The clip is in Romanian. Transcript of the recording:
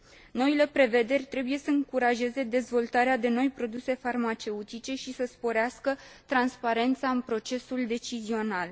Noile prevederi trebuie să încurajeze dezvoltarea de noi produse farmaceutice și să sporească transparența în procesul decizional.